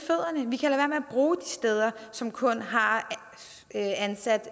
bruge de steder som kun har ansat